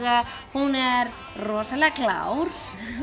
hún er rosalega klár